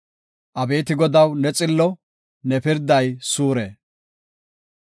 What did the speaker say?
Abeeti Godaw, ne xillo; ne pirday suure.